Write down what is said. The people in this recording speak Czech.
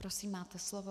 Prosím, máte slovo.